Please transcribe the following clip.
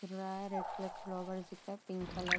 रा है। Red colour का व्लॉगर दिख रहा है। Pink colour --